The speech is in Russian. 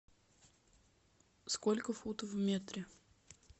сколько футов в метре